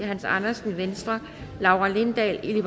hans andersen laura lindahl